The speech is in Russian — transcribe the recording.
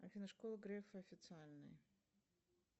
афина школа грефа официальный